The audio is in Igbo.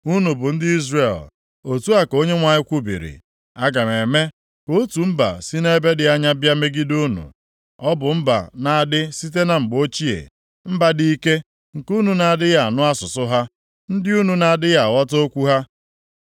Unu bụ ndị Izrel,” otu a ka Onyenwe anyị kwubiri, “Aga m eme ka otu mba si nʼebe dị anya bịa megide unu. Ọ bụ mba na-adị site na mgbe ochie, mba dị ike, nke unu na-adịghị anụ asụsụ ha, ndị unu na-adịghị aghọta okwu ha.